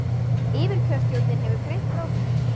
Yfirkjörstjórnin hefur greint frá þessu